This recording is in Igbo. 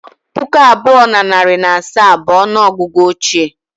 Puku abụọ na narị na asaa bụ ọnụ ọgụgụ ochie